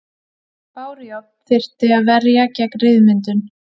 Bárujárn þurfti að verja gegn ryðmyndun.